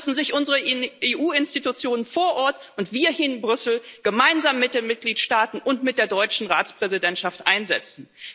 Dafür müssen sich unsere EU Institutionen vor Ort und wir hier in Brüssel, gemeinsam mit den Mitgliedstaaten und mit der deutschen Ratspräsidentschaft einsetzen.